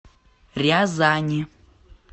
рязани